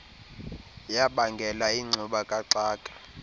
yabangela ingxuba kaxaka